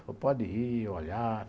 Falei, pode ir, olhar.